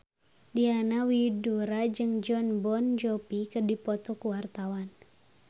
Diana Widoera jeung Jon Bon Jovi keur dipoto ku wartawan